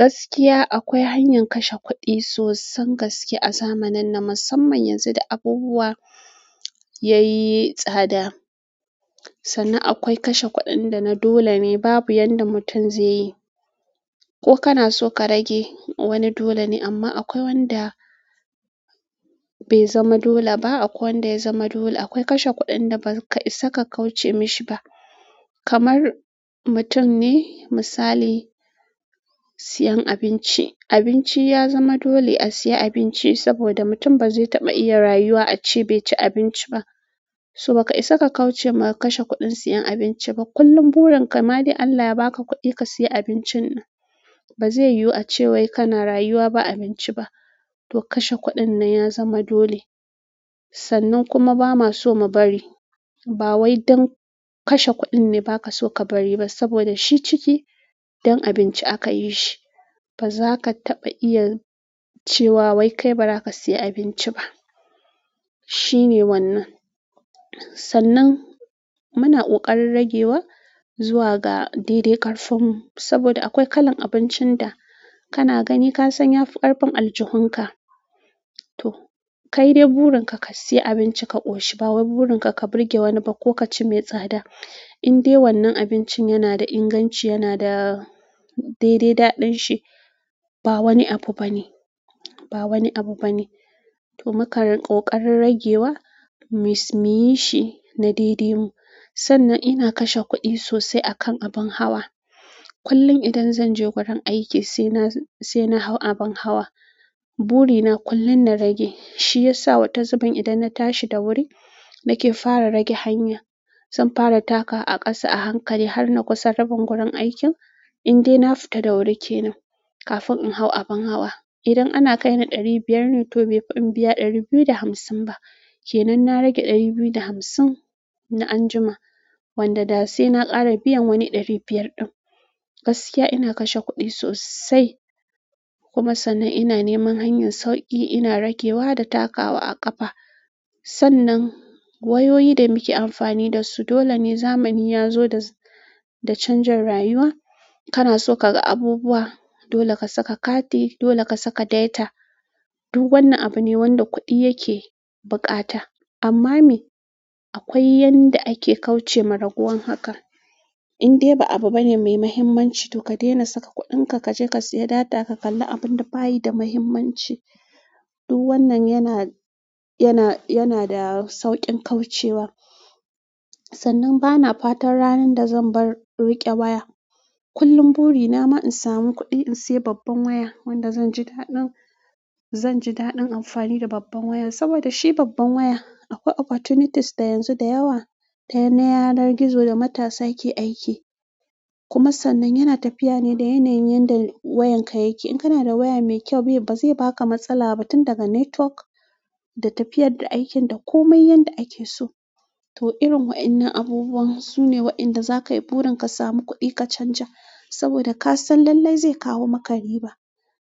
Gaskiya akwai hanyar kashe kuɗi sosan gaske a zamanin nan, musamman yanzu da abubuwa yayi tsada. Sannan akwai kashe kuɗin da na dole ne babu yanda mutum zai yi. Ko kana so ka rage wani dole ne amma akwai wanda be zama dole ba, akwai wanda ya zama dole. Akwai kashe kuɗin da ba ka isa ka kauce mishi ba. Kamar mutum ne misali, siyan abinci abinci ya zama dole a siya abinci saboda mutum ba zai taɓa iya rayuwa ace bai ci abinci ba. To ba ka isa ka kauce ma kashe kuɗin siyan abinci ba. Kullum burin ka, ma da Allah ya ba ka kuɗi ka siya abincin nan. Ba zai yiyu ace wai kana rayuwa ba abinci ba. To kashe kuɗin nan ya zama dole. Sannan kuma ba ma so mu bari. Ba wai don kashe kuɗin ne ba ka so ka bari ba saboda shi ciki don abinci aka yi shi. Baza ka taɓa iya cewa wai kai baza ka siya abinci ba shine wannan sannan muna ƙoƙarin ragewa zuwa ga daidai ƙarfin mu saboda akwai kalan abincin da kana gani ka san ya fi ƙarfin aljuhun ka. To kai dai burin ka, ka siya abinci ka ƙoshi. Ba wai burin ka, ka burge wani ba ko ka ci mai tsada. In dai wannan abincin yana da inganci, yana da daidai daɗin shi, ba wani abu bane. Ba wani abu bane. To mukan ƙoƙarin ragewa, muyishi na daidai mu. Sannan ina kashe kuɗi sosai akan abin hawa. Kullum idan zan je gurin aiki sai na sai na hau abin hawa. Burina kullum na rage. Shiyasa wata zubin idan na tashi da wuri nake fara rage hanya zan fara takawa a ƙasa a hankali har na kusa rabin gurin aikin in dai na fita da wuri kenan. Kafin in hau abin hawa idan ana kai ni ɗari biyar ne to bai fi in biya ɗari biyu da hamsin ba. Kenan na rage ɗari biyu da hamsin na anjima wanda da sai na ƙara biyan wani ɗari biyar din gaskiya ina kashe kuɗi sosai kuma sannan ina neman hanyar sauƙi ina ragewa da takawa a ƙafa sannan wayoyi da muke amfani da su dole ne zamani ya zo da da canjin rayuwa. Kana so ka ga abubuwa dole ka saka kati dole ka saka data. Duk wannan abu ne wanda kuɗi yake bukata amma me akwai yanda ake kauce ma raguwar haka. In dai ba abu bane mai mahimmanci to ka daina saka kuɗin ka ka je ka siya data ka kalli abun da bayi da mahimmanci. Duk wannan yana, yana, yana da sauƙin kauce wa. Sannan bana fatan ranan da zanbar rike waya kullum buri na ma insamu kuɗi insaya babban waya wanda zanji daɗin zanji daɗin amfani da babban waya sabado shi babban waya akwai opportunities yanzu dayawa na yanar gizo da matasa ke aiki kuma sannan yana tafiya ne da yanayin yanda wayan ka yake. In kana da waya mai kyau ba zai ba ka matsala ba tun daga network da tafiyar da aikin da komai yanda ake so. To irin waɗannan abubuwan su ne waɗanda za ka yi burin ka samu kuɗi ka canja saboda ka san lallai zai kawo maka riba.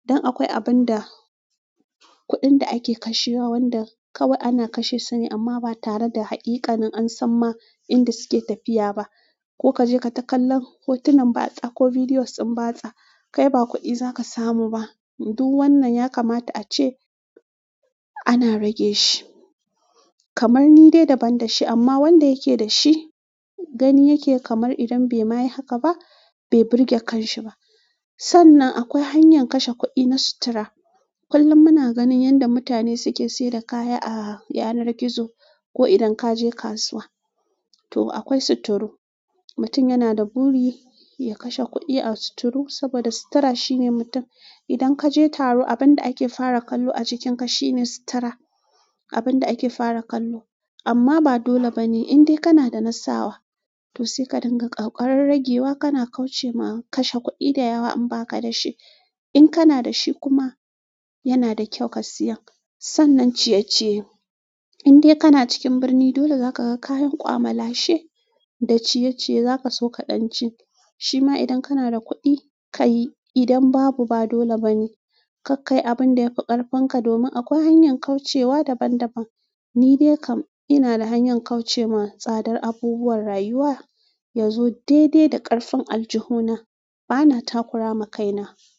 Don akwai abun da kuɗin da ake kashewa wanda kawai ana kashe sune amma ba tare da haƙiƙanin an san ma inda suke tafiya ba. Ko ka je ka ta kallan hotunan batsa ko videos din batsa kai ba kuɗi za ka samu ba. Duk wannan ya kamata ace ana rage shi kamar ni dai daban da shi amma wanda yake da shi gani yake kamar idan bai ma yi haka ba bai burge kan shi ba. Sannan akwai hanyar kashe kuɗi na sutura. Kullum muna ganin yanda mutane suke saida kaya a yanar gizo ko idan ka je kasuwa. To akwai suturu. Mutum yana da buri ya kashe kuɗi a suturu saboda sutura shine mutum idan ka je taro abun da ake fara kallo a jikin ka shine sutura. Abun da ake fara kallo. Amma ba dole bane in dai kana da nasawa. To sai ka dinga ƙoƙarin ragewa kana kauce ma kashe kuɗi da yawa in ba ka da shi. In kana da shi kuma yana da kyau ka siya. Sannan ciyeciye in dai kana cikin birni dole za ka ga kayan kwamala she da ciyeciye za ka so ka ɗan ci. Shi ma idan kana da kuɗi ka yi idan babu ba dole bane. Karkayi abun da ya fi ƙarfin ka domin akwai hanyar kaucewa daban daban. Ni dai kam ina da hanyar kauce ma tsadar abubuwan rayuwa yazo daidai da ƙarfin aljuhu na. Bana takura ma kaina.